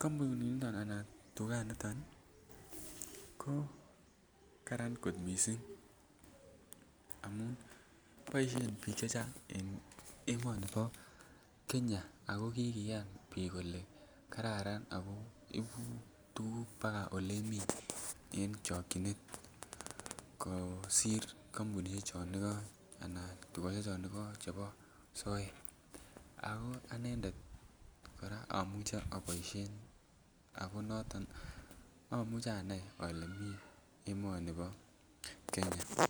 kompuninito anan tuganito ko Kararan kot mising amun boisien bik chechang en emoni bo Kenya ako kikoyan bik kole kararan ako ibu tuguk baka Ole miten kosir kompunisiek chon igok anan tugosiek chon alak chebo soet ako anendet kora amuche aboisien ako noton amuche anai Ole mi emoni bo Kenya